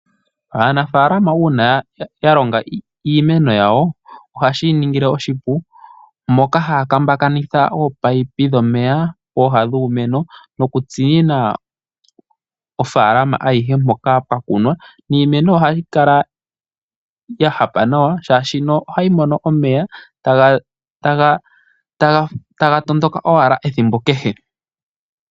Aanafaalama uuna ya longa iimeno yawo, ohashi ya ningile oshipu, moka haya taakanitha ominino dhomeya pooha dhiimeno, okushashamina ofaalama ayihe mpoka pwa kunwa, niimeno ohayi kala ya hapa nawa oshoka ohayi mono omeya, taga tondoka owala ethimbo kehe.